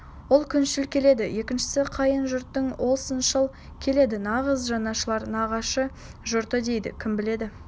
ол күншіл келеді екіншісі қайын жұртың ол сыншыл келеді нағыз жанашыр нағашы жұрты дейді кім біледі